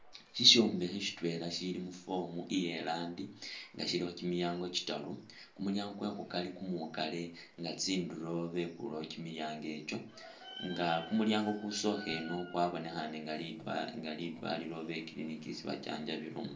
Shishombekhe shitwela shili mu’form iyelandi nga shilokho kyimilyango tsitaru ,kumulyango kwekhukari kumwikale nga tsinduro bekuyewo kyimilyango ekyo nga kumulyango kusokha ino kwabonekhane nga lidwalilo oba i’clinic isi bajanjabilamo .